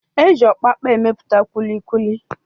E ji ọpapa emepụta kulikuli.